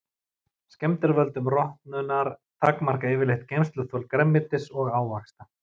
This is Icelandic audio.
Skemmdir af völdum rotnunar takmarka yfirleitt geymsluþol grænmetis og ávaxta.